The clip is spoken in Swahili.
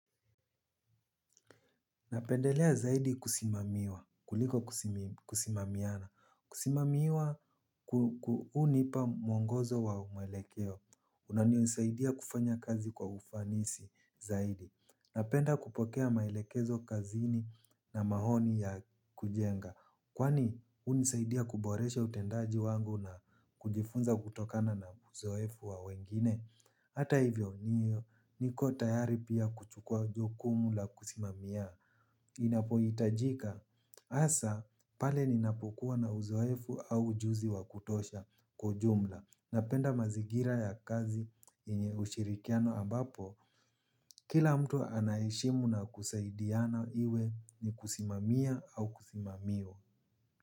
Napendelea zaidi kusimamiwa. Kuliko kusimamiana. Kusimamiwa hunipa mwongozo wa maelekeo. Unanisaidia kufanya kazi kwa ufanisi zaidi. Napenda kupokea maelekezo kazini na maoni ya kujenga. Kwani hunisaidia kuboresha utendaji wangu na kujifunza kutokana na uzoefu wa wengine. Hata hivyo niyo, niko tayari pia kuchukua jukumu la kusimamia. Inapohitajika, hasa pale ninapokuwa na uzoefu au ujuzi wa kutosha kwa ujumla. Napenda mazigira ya kazi ushirikiano ambapo, kila mtu anaheshimu na kusaidiana iwe ni kusimamia au kusimamiwa.